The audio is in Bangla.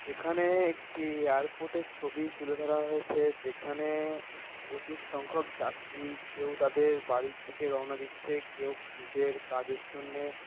এখানে-এ একটি-ই এয়ারপোর্ট -এর ছবি তুলে ধরা হয়েছে যেখানে-এ প্রচুর সংখ্যক যাত্রী। কেউ তাদের বাড়ির দিকে রওনা দিচ্ছে কেউ নিজের কাজের জন্যে--